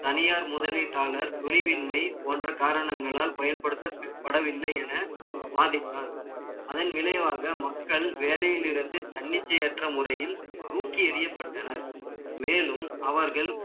தனியார் முதலீட்டாளர், துணிவின்மை போன்ற காரணங்களால், பயன்படுத்தப்படவில்லை என, வாதிஸ்தான். அதன் விளைவாக, மக்கள் வேலையில் இருந்து, தன்னிச்சையற்ற முறையில், தூக்கி எறியப்பட்டனர் மேலும், அவர்கள்